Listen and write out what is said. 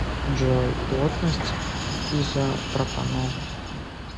джой плотность изопропанол